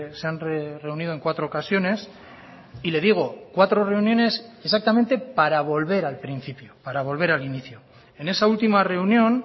se han reunido en cuatro ocasiones y le digo cuatro reuniones exactamente para volver al principio para volver al inicio en esa última reunión